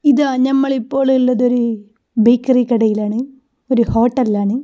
ഇതാ ഞമ്മളിപ്പോ ഇള്ളതൊരു ബേക്കറി കടയിലാണ് ഒരു ഹോട്ടലിൽ ആണ്.